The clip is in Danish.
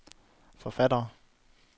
forfattere